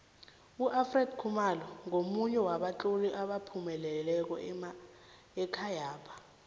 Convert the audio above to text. ufred khumalo ngomunye wabatloli abaphumeleleko ekhayapha